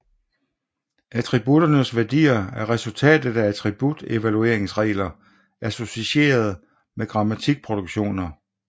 Attributternes værdier er resultatet af attribut evalueringsregler associeret med grammatikproduktioner